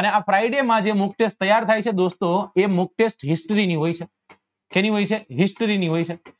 અને આ friday માં જે mock test તૈયાર થાય છે દોસ્તો એ mock test history ની હોય છે શેની હોય છે history ની હોય છે